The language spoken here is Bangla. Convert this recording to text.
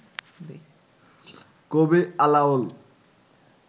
কবি আলাওল